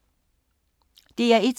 DR1